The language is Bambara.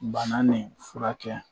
Bana nin furakɛ.